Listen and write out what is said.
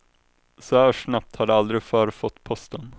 Så här snabbt har de aldrig förr fått posten.